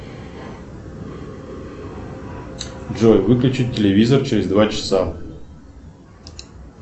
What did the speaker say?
джой выключить телевизор через два часа